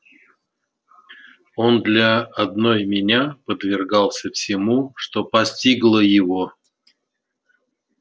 он для одной меня подвергался всему что постигло его